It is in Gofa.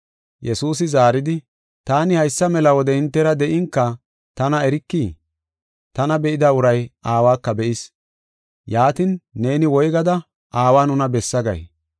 Yesuusi zaaridi, “Taani haysa mela wode hintera de7inka tana erikii? Tana be7ida uray Aawaka be7is. Yaatin, neeni woygada, ‘Aawa nuna bessa’ gay?